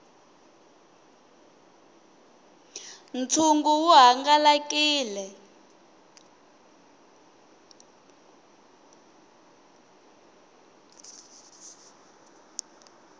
ntshungu wu hangalakile